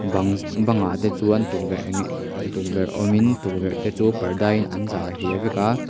bangs bangah te chuan tukverh ng tukverh awmin tukverh te chu parda in an zar hliah vek a.